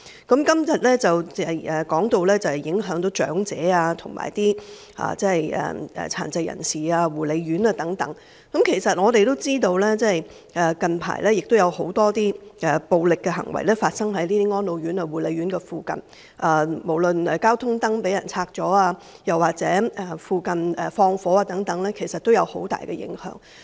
今天提到對長者、殘疾人士和護理院舍的影響，我們也知道近來有很多暴力行為出現在安老院舍和護理院舍附近，包括交通燈被拆除，或是在附近縱火，其實也造成很大的影響。